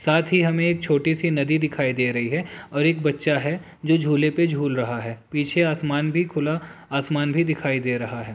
साथ ही हमें छोटी सी नदी दिखाई दे रही है और एक बच्चा है जो झूले पे झूल रहा है पीछे आसमान भी खुला आसमान भी दिखाई दे रहा है।